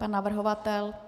Pan navrhovatel?